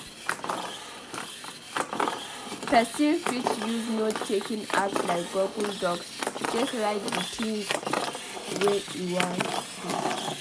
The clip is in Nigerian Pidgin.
person fit use note taking apps like google docs take write di things wey im wan do